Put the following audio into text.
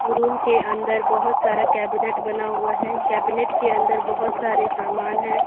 Room के अंदर बहुत सारा कैबिनेट बना हुआ है कैबिनेट के अंदर बहुत सारे सामान हैं।